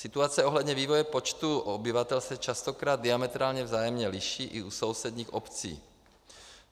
Situace ohledně vývoje počtu obyvatel se častokrát diametrálně vzájemně liší i u sousedních obcí.